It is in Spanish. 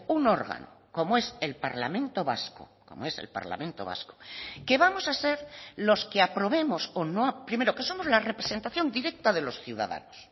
un órgano como es el parlamento vasco como es el parlamento vasco que vamos a ser los que aprobemos o no primero que somos la representación directa de los ciudadanos